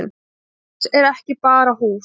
Hús er ekki bara hús